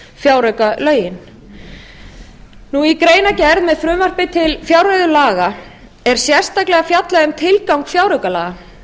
fjáraukalögin í greinargerð með frumvarpi til fjárreiðulaga er sérstaklega fjallað um tilgang fjáraukalaga